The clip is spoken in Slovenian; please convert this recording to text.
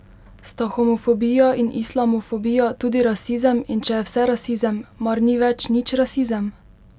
Sta homofobija in islamofobija tudi rasizem in če je vse rasizem, mar ni več nič rasizem?